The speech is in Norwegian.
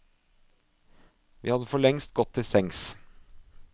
Vi hadde forlengst gått til sengs.